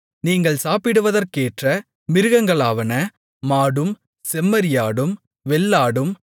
நீங்கள் சாப்பிடுவதற்கேற்ற மிருகங்களாவன மாடும் செம்மறியாடும் வெள்ளாடும்